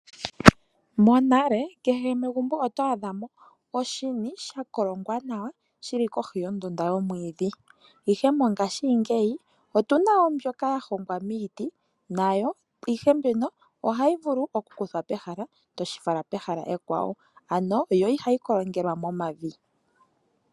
Monale kehe megumbo oto adha mo oshini shakolongwa nawa shili kohi yondunda yomwidhi ,ihe mongashi ngeyi otuna mo mbyoka yahongwa miiti nayo ihe mbyoka ohayi vulu oku kuthwa pehala toshifala pehala ekwa wo, ano yo iha yi kolongelwa momavi.